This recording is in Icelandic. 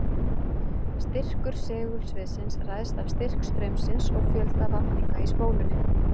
Styrkur segulsviðsins ræðst af styrk straumsins og fjölda vafninga í spólunni.